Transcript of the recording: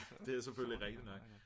det er jo selvfølgelig rigtigt nok